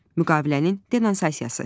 Müqavilənin denonsasiyası.